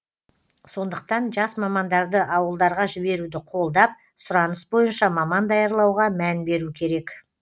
сондықтан жас мамандарды ауылдарға жіберуді қолдап сұраныс бойынша маман даярлауға мән беру керек